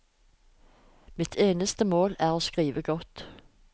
Mitt eneste mål er å skrive godt.